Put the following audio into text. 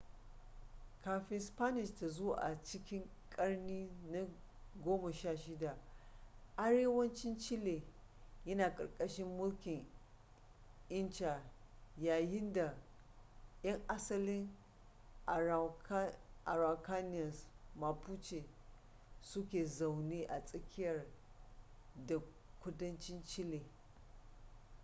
kafin spanish ta zo a cikin ƙarni na 16 arewacin chile yana ƙarƙashin mulkin inca yayin da 'yan asalin araucanians mapuche suke zaune a tsakiya da kudancin chile